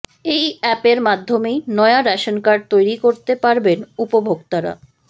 এই অ্যাপের মাধ্যমেই নয়া রেশন কার্ড তৈরি করতে পারবেন উপভোক্তারা